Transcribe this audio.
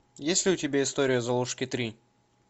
есть ли у тебя история золушки три